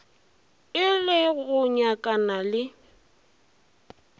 e le go nyakana le